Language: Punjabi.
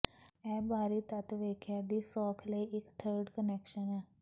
ਇਹ ਬਾਹਰੀ ਤੱਤ ਵੇਖਿਆ ਦੀ ਸੌਖ ਲਈ ਇੱਕ ਥਰਿੱਡ ਕੁਨੈਕਸ਼ਨ ਹੈ